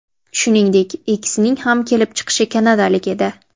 Shuningdek, ikkisining ham kelib chiqishi kanadalik edi.